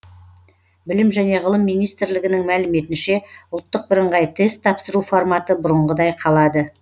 білім және ғылым министрлігінің мәліметінше ұлттық бірыңғай тест тапсыру форматы бұрынғыдай қалады